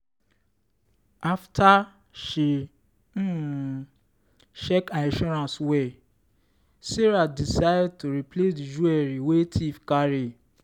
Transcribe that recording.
after she um check her insurance well sarah decide to replace the jewelry wey thief carry.